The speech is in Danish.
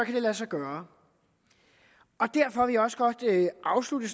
det lade sig gøre derfor vil jeg også godt afslutte